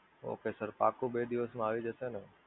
Okay Sir, પાક્કું બે દિવસ માં આવી જશે ને?